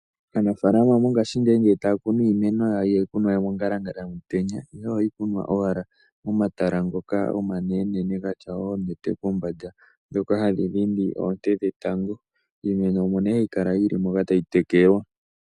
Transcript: Aanafaalama mongashingeyi ngele taya kunu iimeno yawo, ihaya kunwa mongalangala yomutenya, ihe ohayi kunwa owala momatala ngoka omanenenene gatya oonete kombanda ndhoka hadhi dhindi oonte dhetango . Iimeno omo hayi kala yili moka tayi tekelwa.